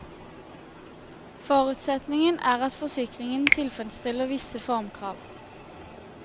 Forutsetningen er at forsikringen tilfredsstiller visse formkrav.